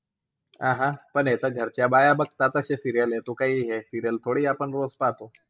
अह पण हे तर घरच्या बाया बघता तशे serial आहे. तू काई हे serial थोडी आपण रोज पाहतो.